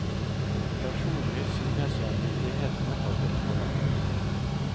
Personlig synes jeg myndighetene har gått for langt.